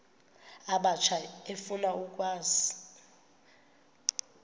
abatsha efuna ukwazi